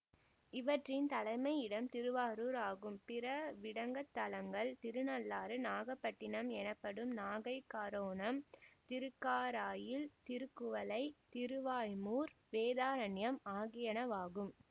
இவற்றின் தலைமையிடம் திருவாரூர் ஆகும் பிற விடங்கத்தலங்கள் திருநள்ளாறு நாகபட்டினம் எனப்படும் நாகைக்காரோணம் திருக்காராயில் திருக்குவளை திருவாய்மூர் வேதாரண்யம் ஆகியனவாகும்